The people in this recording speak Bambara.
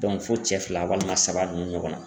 fo cɛ fila walima saba ninnu ɲɔgɔnna.